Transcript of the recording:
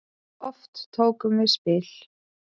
Oft tókum við spil.